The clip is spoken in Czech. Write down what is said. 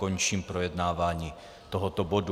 Končím projednávání tohoto bodu.